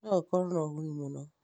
no gũkorwo na ũguni mũno